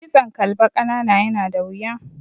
Kitson kalba ƙanana yana da wuya.